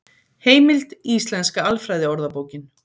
Heimild: Íslenska alfræðiorðabókin.